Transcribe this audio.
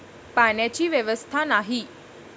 पाण्याची व्यवस्था नाही.